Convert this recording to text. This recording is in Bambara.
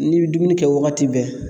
N'i bɛ dumuni kɛ wagati bɛɛ